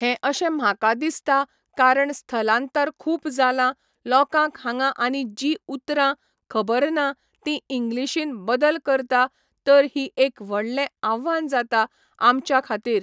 हें अशें म्हाका दिसता कारण स्थलांतर खूब जालां लोकांक हांगा आनी जी उतरां खबर ना तीं इंग्लिशीन बदल करता तर ही एक व्हडले आव्हान जाता आमच्या खातीर